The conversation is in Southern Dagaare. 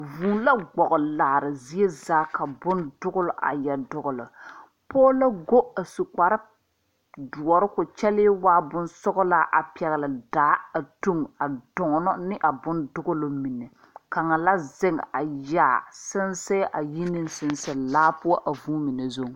Vūū la gboge laare zie zaa ka bondugle a yɛ dugle pɔɔ la go a su kparedɔre ko kyɛlee waa bonsɔglaa a pɛgle daa a tuŋ a dɔɔnɔ ne a bondɔgle mine kaŋ la zeŋ a yaa sensɛɛ a yi neŋ sensɛ laa poɔ a vūū mine zuŋ.